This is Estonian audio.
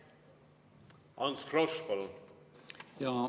Ants Frosch, palun!